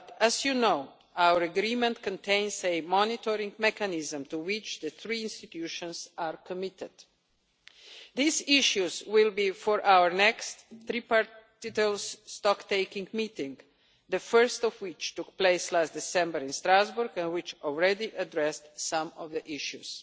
But, as you know, our agreement contains a monitoring mechanism to which the three institutions are committed. These issues will be for our next three part, detailed stocktaking meeting, the first of which took place last December in Strasbourg and which already addressed some of the issues.